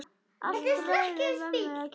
Allt ræðu mömmu að kenna!